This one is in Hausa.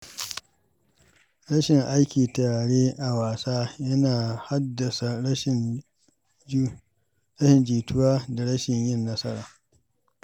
Rashin aiki tare a wasa yana haddasa rashin jituwa da rashin yin nasara.